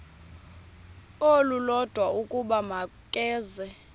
olulodwa ukuba makeze